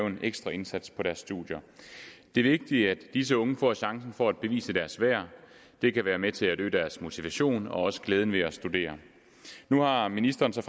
en ekstra indsats på deres studier det er vigtigt at disse unge får chancen for at bevise deres værd det kan være med til at øge deres motivation og også glæden ved at studere nu har ministeren så